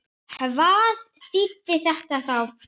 Hvað þýddi þetta þá?